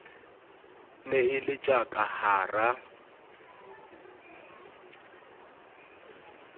ne e le tjaka hara